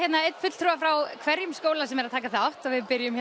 einn fulltrúa frá hverjum skóla sem er að taka þátt og við byrjum